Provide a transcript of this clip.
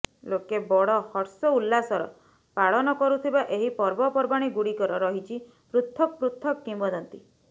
ଲୋକେ ବଡ଼ ହର୍ଷ ଉଲ୍ଲାସର ପାଳନ କରୁଥିବା ଏହି ପର୍ବପର୍ବାଣି ଗୁଡ଼ିକର ରହିଛି ପୃଥକ୍ ପୃଥକ୍ କିମ୍ବଦନ୍ତୀ